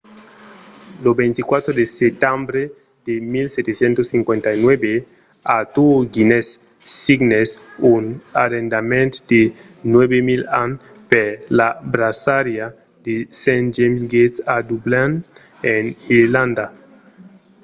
lo 24 de setembre de 1759 arthur guinness signèt un arrendament de 9 000 ans per la braçariá de st james' gate a dublin en irlanda